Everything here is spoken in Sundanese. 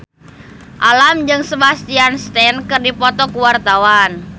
Alam jeung Sebastian Stan keur dipoto ku wartawan